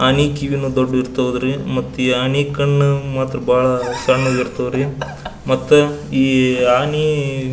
ಆನೆ ಕಿವಿನೂ ದೊಡ್ಡದು ಇರ್ತಿವ ರೀ ಮ್ಯಾತ್ ಈ ಆನೆ ಕಣ್ಣು ಬಹಳ ಸಣ್ಣ ಇರ್ತವ್ ರೀ ಮತ್ತ ಈ ಆನಿ--